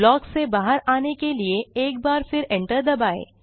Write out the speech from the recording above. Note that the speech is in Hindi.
ब्लॉक से बहार आने के लिए एक बार फिर enter दबाएँ